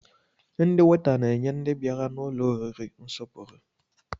Ndị weta na-enye ndị bịara n'ụlọ oriri nsọpụrụ